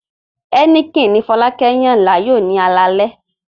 Heineken ni Fọlákẹ́ yàn láàyò ní alẹ́ àná